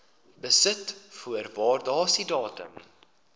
besit voor waardasiedatum